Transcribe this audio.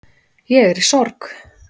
Ég er í sorg